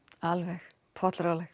alveg